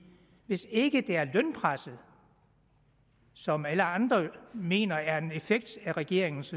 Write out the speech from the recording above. hvis ikke det er lønpresset som alle andre mener er en effekt af regeringens